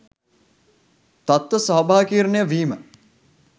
තත්ත්ව ස්වාභාවිකකරණය වීම